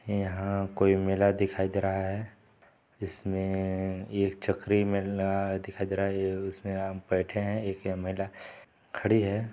यहाँ कोई मेला दिखाई दे रहा है इसमें एक चकरी मेला दिखाई दे रहा है उसमें आप बैठे है एक महिला खड़ी हैं।